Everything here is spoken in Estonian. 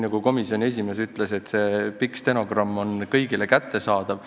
Nagu komisjoni esimees ütles, see pikk stenogramm on kõigile kättesaadav.